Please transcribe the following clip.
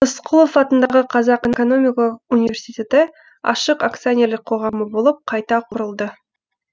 рысқұлов атындағы қазақ экономикалық университеті ашық акционерлік қоғамы болып қайта құрылды